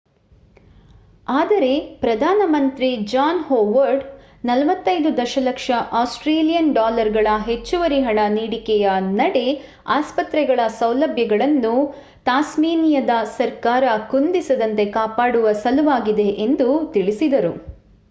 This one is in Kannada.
ಆದರೆ ಪ್ರಧಾನ ಮಂತ್ರಿ ಜಾನ್ ಹೊವಾರ್ಡ್ 45 ದಶಲಕ್ಷ ಆಸ್ಟ್ರೇಲಿಯನ್ ಡಾಲರ್ಗಳ ಹೆಚ್ಚುವರಿ ಹಣ ನೀಡಿಕೆಯ ನಡೆ ಆಸ್ಪತ್ರೆಗಳ ಸೌಲಭ್ಯಗಳನ್ನು ತಾಸ್ಮೇನಿಯದ ಸರ್ಕಾರ ಕುಂದಿಸದಂತೆ ಕಾಪಾಡುವ ಸಲುವಾಗಿದೆ ಎಂದು ತಿಳಿಸಿದರು